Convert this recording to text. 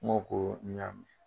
N go ko n ya mɛn.